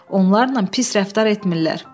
Onlarla pis rəftar etmirlər.